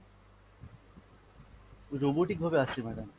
robotic ভাবে আসছে madam।